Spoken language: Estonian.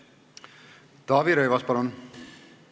Taavi Rõivas, palun!